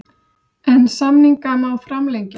En samninga má framlengja.